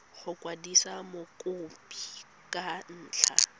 go kwadisa mokopi ka ntlha